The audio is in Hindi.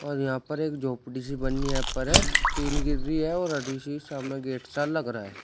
और यहां पर एक झोपड़ी सी बनी यहाँ पर है। टीन गिर रही है और शीशा में गेट सा लग रहा है।